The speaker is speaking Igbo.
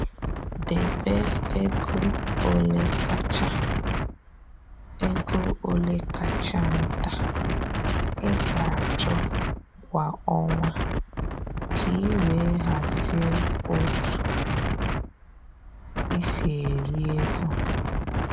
Debe ego ole kacha ego ole kacha nta ị ga-achọ kwa ọnwa ka i wee hazie otu i si eri ego